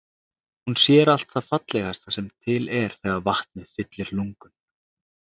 Hún sér allt það fallegasta sem til er þegar vatnið fyllir lungun.